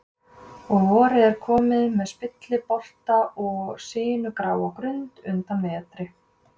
Og vorið er komið með spilliblota og sinugráar grundir undan vetri.